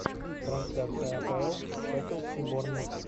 трансляция апл шеффилд и борнмут